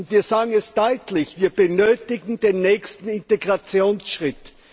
Wir sagen es deutlich Wir benötigen den nächsten Integrationsschritt.